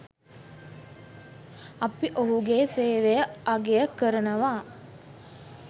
අපි ඔහුගේ සේවය අගය කරනවා.